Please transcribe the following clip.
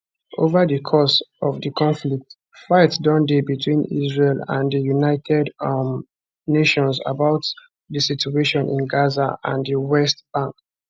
ova di course of di conflict fight don dey betwin israel and di united um nations about di situation in gaza and di west bank